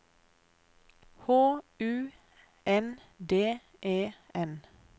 H U N D E N